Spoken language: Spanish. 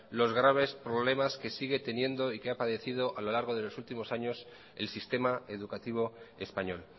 los graves problemas que sigue teniendo y que ha padecido a lo largo de los últimos años el sistema educativo español